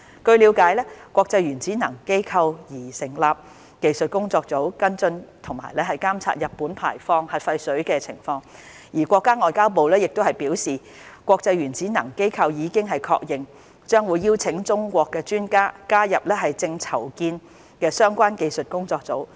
據了解，國際原子能機構擬成立技術工作組，跟進和監測日本排放核廢水情況，而國家外交部亦表示，國際原子能機構已經確認，將會邀請中國專家加入正籌建的相關技術工作組。